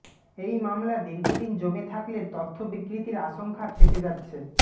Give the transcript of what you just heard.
এই মামলা দীর্ঘদিন জমে থাকলে তথ্য বিকৃতির আশঙ্কা থেকে যাচ্ছে